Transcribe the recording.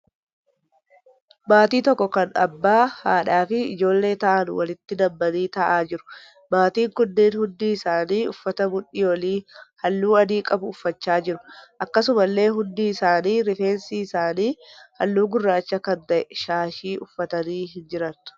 Maatii tokko kan abbaa, haadhaa fi ijoollee ta'an walitti nammanii ta'aa jiru. Maatiin kunneen hundi isaanii uffata mudhii olii halluu adii qabu uffachaa jiru. Akkasumallee hundi isaanii rifeensi isaanii halluu gurraacha kan ta'e shaashii uffatanii hin jiran.